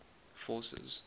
forces